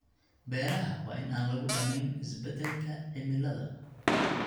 Beeraha waa in aan lagu dhamayn isbeddelka cimilada.